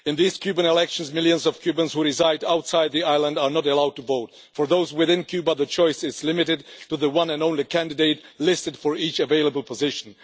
In these Cuban elections, millions of Cubans who reside outside the island are not allowed to vote. For those within Cuba, the choice is limited to the one and only candidate listed for each available position.